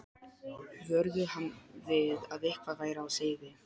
vöruðu hann við að eitthvað væri á seyði.